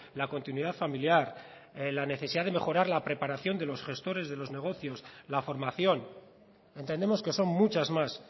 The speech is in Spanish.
la continuidad familiar la necesidad de mejorar la preparación de los gestores de los negocios la formación entendemos que son muchas más